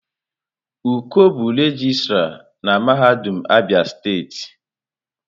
Uko bụ regịstrá na mahadum Abia steeti.